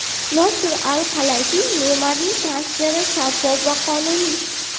Nosir Al-Halayfiy: Neymarning transferi shaffof va qonuniy.